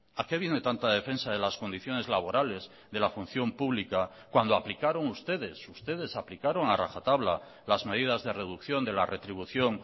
a qué viene tanta defensa de las condiciones laborales de la función pública cuando aplicaron ustedes ustedes aplicaron a rajatabla las medidas de reducción de la retribución